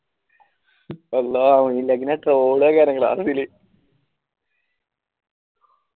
അല്ലാഹു ഓനില്ലെങ്കിൽ ഞാൻ ഇല്